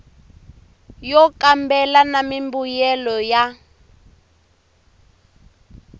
yo kambela na mimbuyelo ya